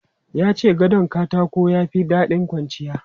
Ya ce gadon katako ya fi daɗin kwanciya.